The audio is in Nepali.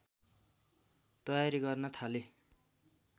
तयारी गर्न थाले